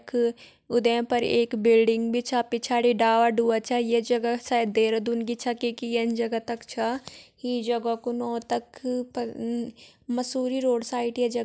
यख उद्दें पर एक बिल्डिंग भी छा पिछाड़ी डाला डूला छा ये जगह शायद देहरादून की छा क्युकी यन जगह तक छा यी जगह कू नौ तक पर मसूरी रोड साइड यी जगह --